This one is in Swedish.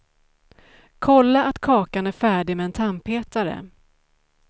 Kolla att kakan är färdig med en tandpetare.